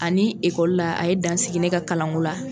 Ani la a ye dansigi ne ka kalanko la.